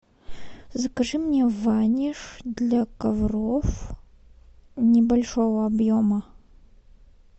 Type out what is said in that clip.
закажи мне ваниш для ковров небольшого объема